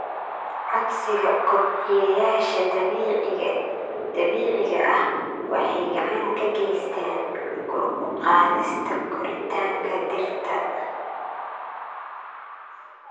Codsiga kobciyeyaasha dabiiciga ah waxay gacan ka geystaan ??kor u qaadista koritaanka dhirta.